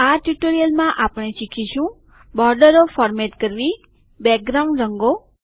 આ ટ્યુટોરીયલમાં આપણે શીખીશું બોર્ડરો ફોર્મેટ કરવી બેકગ્રાઉન્ડ રંગો